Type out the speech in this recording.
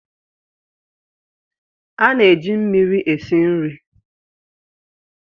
A na-eji mmiri esi nri.